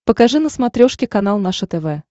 покажи на смотрешке канал наше тв